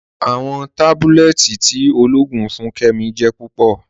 Awọn tábúlẹ̀tì tí ọlọ́ọ̀gùn fún Kẹ́mí jẹ́ púpọ̀.